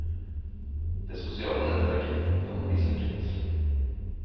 Det sosiale nettverket kan bli svekket.